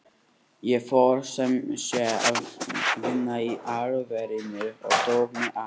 Ég fór sem sé að vinna í álverinu og tók mig á.